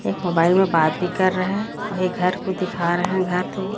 एक मोबाइल में बात भी कर रहे है और ये घर को दिखा रहे हैं घर तो--